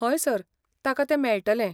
हय, सर, ताका तें मेळटलें.